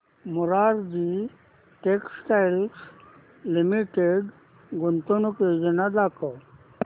Morarji textiles limited गुंतवणूक योजना दाखव